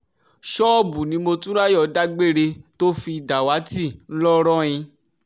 ṣọ́ọ̀bù ni motunráyọ̀ dágbére tó fi dàwátì ńlọrọìn